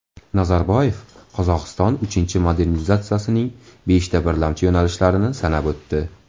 Nazarboyev Qozog‘iston uchinchi modernizatsiyasining beshta birlamchi yo‘nalishlarini sanab o‘tdi.